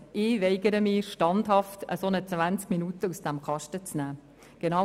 Ich selber weigere mich standhaft, eine solche «20 Minuten»-Zeitung aus dem Kasten zu nehmen und zu lesen.